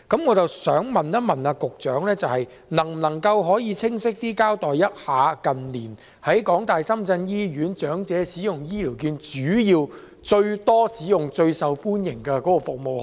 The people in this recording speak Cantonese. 我想問，局長能否更清晰地告訴我們，近年長者在港大深圳醫院使用醫療券時，最多使用及最受歡迎的是哪些服務？